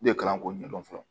U de kalan ko ɲɛdɔn fɔlɔ